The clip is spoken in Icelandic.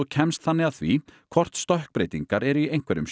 kemst þannig að því hvort stökkbreytingar eru í einhverjum